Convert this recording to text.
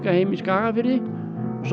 heima í Skagafirði en svo